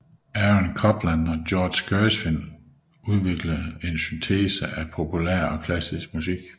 Aaron Copland og George Gershwin udviklede en syntese af populær og klassisk musik